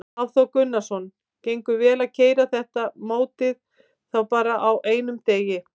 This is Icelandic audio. Hafþór Gunnarsson: Gengur vel að keyra þetta mótið þá bara á einum degi?